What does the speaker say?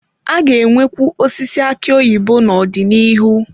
A ga-enwekwu osisi aki oyibo n'ọdịnihu.